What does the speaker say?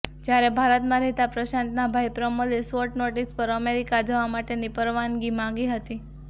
જ્યારે ભારતમાં રહેતા પ્રશાંતના ભાઈ પ્રમોદે શોર્ટ નોટિસ પર અમેરિકા જવા માટેની પરવાનગી માગી હતી